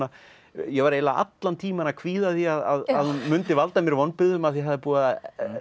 ég var eiginlega allan tímann að kvíða því að hún mundi valda mér vonbrigðum af því það er búið að